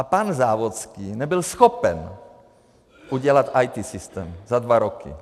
A pan Závodský nebyl schopen udělat IT systém za dva roky.